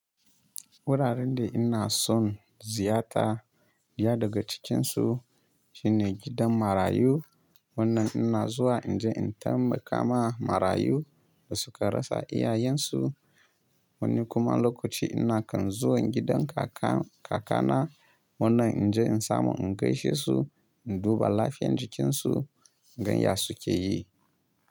Wuraren da ina son ziyarta, ɗaya daga cikinsu shine gidan marayu. Wannan ina zuwa in je in tai ma kama marayu da suka rasa iyayensu. Woni kuma lokaci ina kan zuwa gidan kaka kaka na wannan in je in samu in gaishe su, in duba lafiyan jikinsu, in gan ya suke yi.